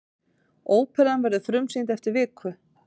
Óperan verður frumsýnd eftir viku.